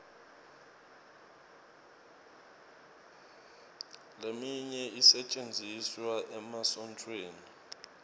leminye isetjentiswa emasontfweni